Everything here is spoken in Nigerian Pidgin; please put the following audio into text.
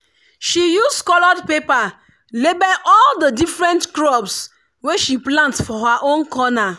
she use coloured paper label all the different crops wey she plant for her own corner.